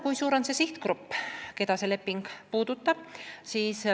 Kui suur on see sihtgrupp, keda see leping puudutab?